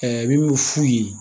i bi min f'u ye